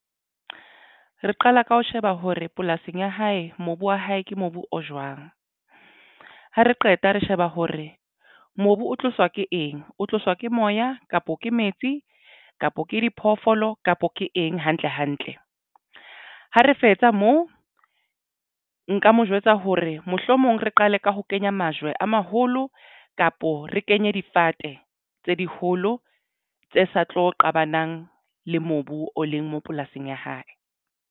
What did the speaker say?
Re qala ka ho sheba hore polasing ya hae mobu wa hae ke mobu o jwang ha re qeta re sheba hore mobu o tloswa ke eng o tloswa ke moya kapo ke metsi kapa ke diphoofolo kapa ke eng hantle hantle. Ha re fetsa moo nka mo jwetsa hore mohlomong re qale ka ho kenya majwe a maholo kapo re kenye difate tse diholo tse sa tlo qabanang le mobu o leng mo polasing ya hae.